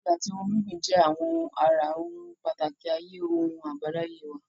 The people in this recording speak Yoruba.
Igi àti ohun gbígbìn jẹ́ àwọn ara ohun pàtàkì ayé ohun àbáláyé wa.